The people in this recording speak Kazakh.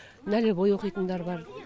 нәлевой оқитындар бар